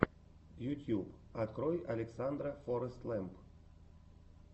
ютьюб открой александра форэстлэмп